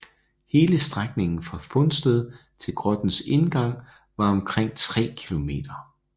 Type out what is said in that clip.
Hele strækningen fra fundsted til grottens indgang var omkring tre kilometer